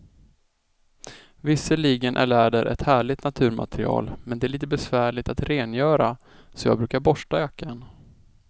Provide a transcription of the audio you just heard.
Visserligen är läder ett härligt naturmaterial, men det är lite besvärligt att rengöra, så jag brukar borsta jackan.